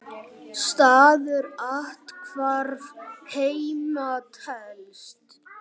Staður athvarf heima telst.